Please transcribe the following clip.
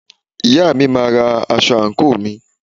Ìyá mi máa ra aṣọ àǹkóò mi.